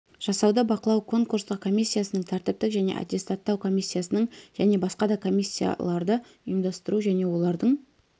жасауды бақылау конкурстық комиссиясының тәртіптік және аттестаттау комиссияның және басқа да комиссияларды ұйымдастыру және олардың